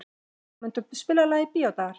Sigurmunda, spilaðu lagið „Bíódagar“.